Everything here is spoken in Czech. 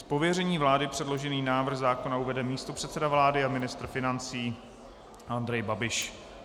Z pověření vlády předložený návrh zákona uvede místopředseda vlády a ministr financí Andrej Babiš.